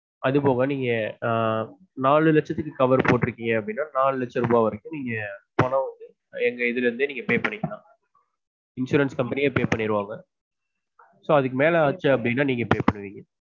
அதுபோக நீங் ஆஹ் நாலு லட்சத்துக்கு கவர் cover போட்டு இருக்கீங்க அப்படின்னா நாலு லட்சம் ரூபா வரைக்கும் நீங்க பணம் வந்து எங்க இதுல இருந்தே நீங்க pay பண்ணிக்களான் insurance company யே pay பண்ணிடுங்க so அதுக்கு மேல ஆச்சுன்னா நீங்க pay பண்ணுவீங்க